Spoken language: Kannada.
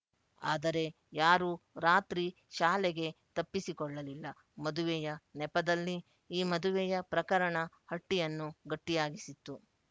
ಆದರೆ ಯಾರೂ ರಾತ್ರಿ ಶಾಲೆಗೆ ತಪ್ಪಿಸಿಕೊಳ್ಳಲಿಲ್ಲಮದುವೆಯ ನೆಪದಲ್ಲಿ ಈ ಮದುವೆಯ ಪ್ರಕರಣ ಹಟ್ಟಿಯನ್ನು ಗಟ್ಟಿಯಾಗಿಸಿತ್ತು